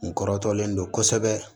N kɔrɔtɔlen don kosɛbɛ